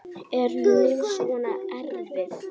Er hún svona erfið?